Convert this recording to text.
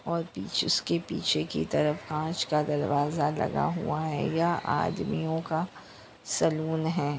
और जिसके पिछे की तरफ काच का दरवाजा लगा हुआ है ये आदमियोंका का सलून है।